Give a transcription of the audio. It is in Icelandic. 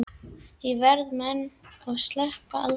Ég veiði menn og sleppi aldrei.